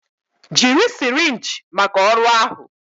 Jiri sirinji maka ọrụ ahụ